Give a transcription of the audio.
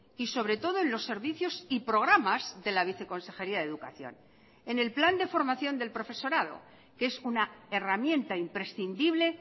y sobre todo en los servicios y programas de la viceconsejería de educación en el plan de formación del profesorado que es una herramienta imprescindible